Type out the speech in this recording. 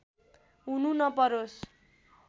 हुनु नपरोस्